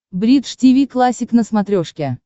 бридж тиви классик на смотрешке